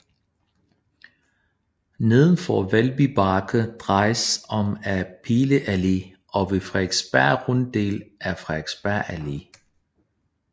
Nedenfor Valby Bakke drejes om ad Pile Allé og ved Frederiksberg Runddel af Frederiksberg Allé